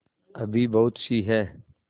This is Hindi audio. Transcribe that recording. अभी बहुतसी हैं